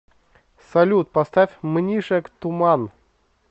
салют поставь мнишек туман